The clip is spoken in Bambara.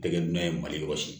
Tɛgɛ nan ye mali yɔrɔ si